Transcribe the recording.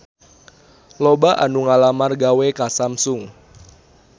Loba anu ngalamar gawe ka Samsung